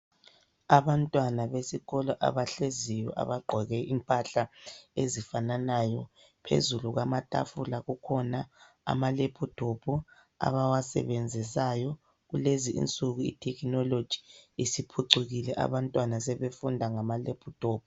Abantwana besikolo abahleziyo ,abagqoke impahla ezifananayo .Phezulu kwamatafula kukhona amalephutophu abawasebenzisayo .Kulezi insuku itekinoloji siphucukile abantwana sebefunda ngama lephuthophu.